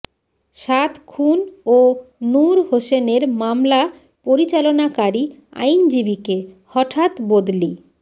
সাত খুন ও নূর হোসেনের মামলা পরিচালনাকারী আইনজীবীকে হঠাৎ বদলি